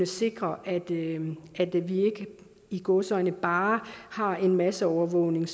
sikre at vi ikke i gåseøjne bare har en masseovervågning